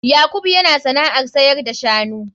Yakubu yana sana'ar sayar da shanu.